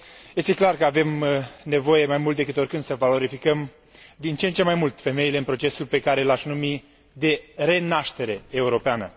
Este clar că avem nevoie, mai mult decât oricând, să valorificăm din ce în ce mai mult femeile în procesul pe care l aș numi de renaștere europeană.